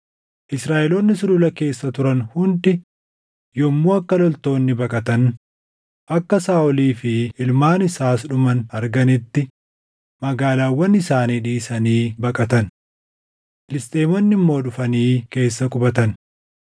Israaʼeloonni sulula keessa turan hundi yommuu akka loltoonni baqatan, akka Saaʼolii fi ilmaan isaas dhuman arganitti magaalaawwan isaanii dhiisanii baqatan. Filisxeemonni immoo dhufanii keessa qubatan.